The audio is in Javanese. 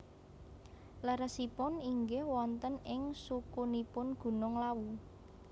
Leresipun inggih wonten ing sukunipun Gunung Lawu